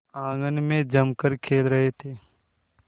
आंगन में जमकर खेल रहे थे